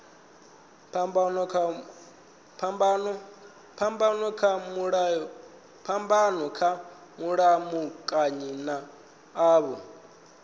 phambano kha mulamukanyi nga avho